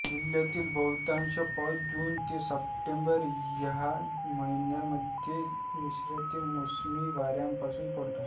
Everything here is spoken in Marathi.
जिल्ह्यातील बहुतांश पाऊस जून ते सप्टेंबर या महिन्यांमध्ये नैर्ऋत्य मोसमी वाऱ्यांपासून पडतो